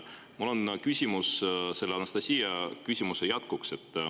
Mul on küsimus Anastassia küsimuse jätkuks.